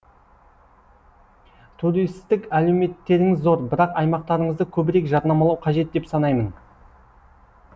туристік әлеуеттеріңіз зор бірақ аймақтарыңызды көбірек жарнамалау қажет деп санаймын